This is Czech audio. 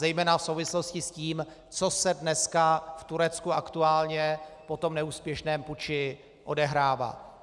Zejména v souvislosti s tím, co se dneska v Turecku aktuálně po tom neúspěšném puči odehrává.